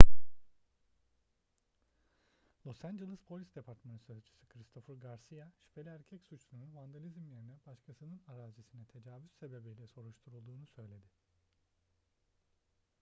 los angeles polis departmanı sözcüsü christopher garcia şüpheli erkek suçlunun vandalizm yerine başkasının arazisine tecavüz sebebiyle soruşturulduğunu söyledi